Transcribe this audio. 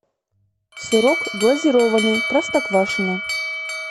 сырок глазированный простоквашино